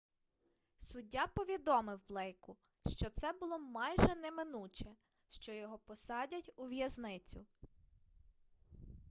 суддя повідомив блейку що це було майже неминуче що його посадять у в'язницю